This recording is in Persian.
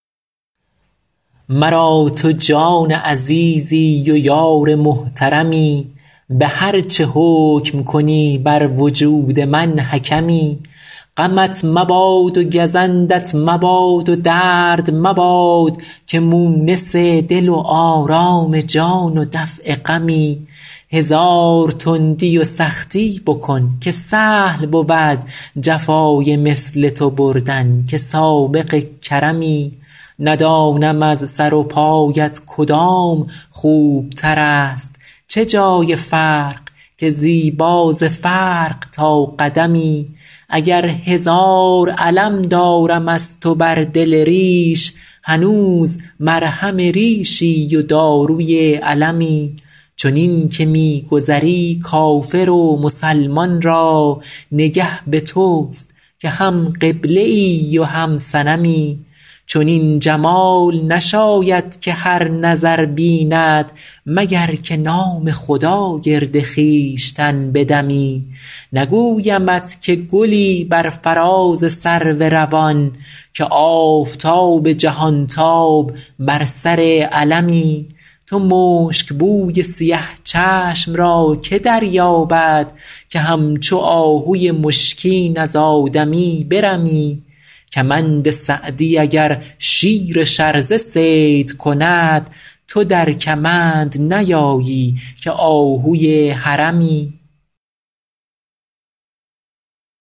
مرا تو جان عزیزی و یار محترمی به هر چه حکم کنی بر وجود من حکمی غمت مباد و گزندت مباد و درد مباد که مونس دل و آرام جان و دفع غمی هزار تندی و سختی بکن که سهل بود جفای مثل تو بردن که سابق کرمی ندانم از سر و پایت کدام خوبتر است چه جای فرق که زیبا ز فرق تا قدمی اگر هزار الم دارم از تو بر دل ریش هنوز مرهم ریشی و داروی المی چنین که می گذری کافر و مسلمان را نگه به توست که هم قبله ای و هم صنمی چنین جمال نشاید که هر نظر بیند مگر که نام خدا گرد خویشتن بدمی نگویمت که گلی بر فراز سرو روان که آفتاب جهانتاب بر سر علمی تو مشکبوی سیه چشم را که دریابد که همچو آهوی مشکین از آدمی برمی کمند سعدی اگر شیر شرزه صید کند تو در کمند نیایی که آهوی حرمی